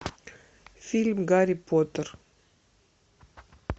фильм гарри поттер